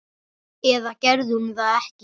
Eða gerði hún það ekki?